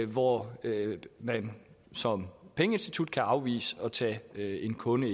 hvor man som pengeinstitut kan afvise at tage en kunde